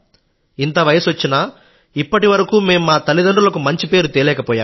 ఇంత వయసొచ్చినా ఇప్పటివరకూ మా తల్లిదండ్రులకు మంచి పేరు తేలేకపోయాం